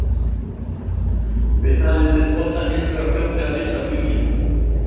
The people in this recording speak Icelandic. Við það mundi þotan hins vegar fljótlega missa flugið.